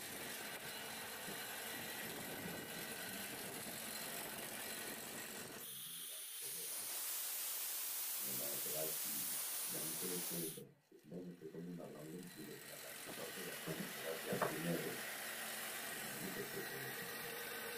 Bana na kelasi bakangi foto kitoko bazo seka. Mingi na bango balati uniforme eza na langi ya bozinga pe shokola.